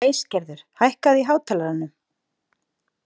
Æsgerður, hækkaðu í hátalaranum.